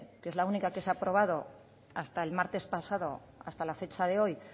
que es la única que se ha aprobado hasta el martes pasado hasta la fecha de hoy